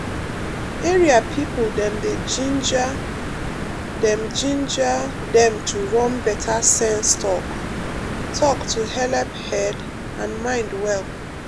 area people dem dey ginger dem ginger dem to run better sense talk-talk to helep head and mind well.